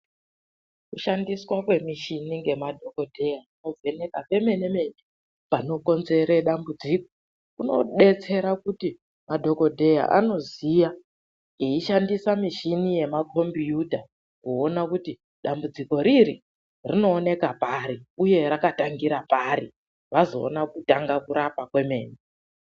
Kushandiswa kwemichini ngemadhokodheya kuvhenekwa pemene-mene panokonzere dambudziko. Kunodetsera kuti, madhokodheya anoziya eishandisa michini yemakhombiyuta, kuona kuti dambudziko riri rinooneka pari uye rakatangira pari? Vazoona kutanga kurapa kwemene.